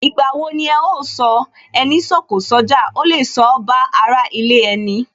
Ìgbà wo ni ẹ ó sọ " Ẹni sọ̀kọ̀ sójà, ó lè sọ ba ara ilé ẹni?